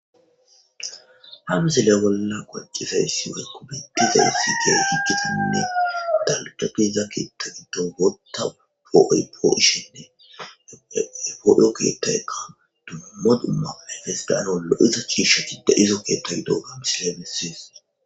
Ha misile bolla qoncisizaysi woyko betizaysi dalgi diza keetha gidon bootha po'ishenne . Dumma dumma keeh lo'za ciishay de'iza keethay diyoga ha misiley beses.